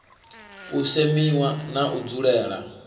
u semiwa na u dzulela